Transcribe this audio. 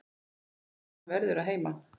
Hann verður að heiman.